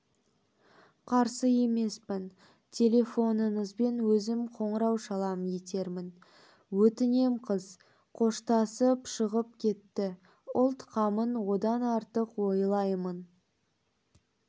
қарсы емеспін телефоныңызбен өзім қоңырау шалам етермін өтінем қыз қоштасып шығып кетті ұлт қамын одан артық ойлаймын